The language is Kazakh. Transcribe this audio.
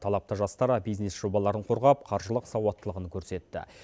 талапты жастар бизнес жобаларын қорғап қаржылық сауаттылығын көрсетті